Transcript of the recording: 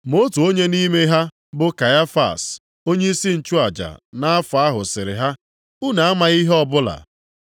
Ma otu onye nʼime ha bụ Kaịfas, onyeisi nchụaja nʼafọ ahụ sịrị ha, “Unu amaghị ihe ọbụla.